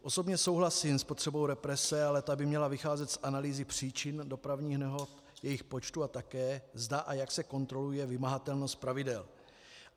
Osobně souhlasím s potřebou represe, ale ta by měla vycházet z analýzy příčin dopravních nehod, jejich počtu, a také zda a jak se kontroluje vymahatelnost pravidel.